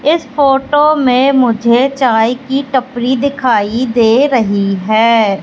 इस फोटो में मुझे चाय की टपरी दिखाई दे रही है।